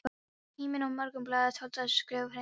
Tíminn og Morgunblaðið töldu þessi skrif hneykslanleg.